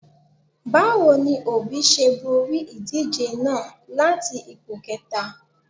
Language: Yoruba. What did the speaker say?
Báwo ni Òbí ṣe borí ìdíje náà láti ipò kẹta?